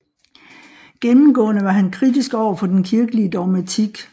Gennemgående var han kritisk overfor den kirkelige dogmatik